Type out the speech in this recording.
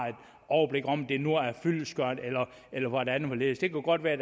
overblik over om det nu er fyldestgørende eller hvordan og hvorledes det kunne godt være